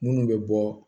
Minnu bɛ bɔ